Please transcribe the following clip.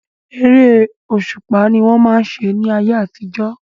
Eré òṣùpá ni wọ́n máa ń ṣe ní ayé àtijọ́.